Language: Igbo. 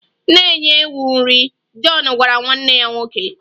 Na-enye ewu nri! Jọn gwara nwanne ya nwoke.